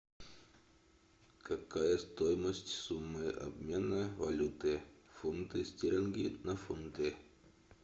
какая стоимость суммы обмена валюты фунты стерлинги на фунты